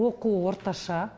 оқуы орташа